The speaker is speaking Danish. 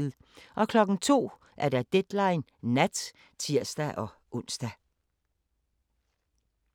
02:00: Deadline Nat (tir-ons)